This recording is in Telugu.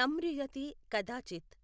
నమృయతే కదాచిత్.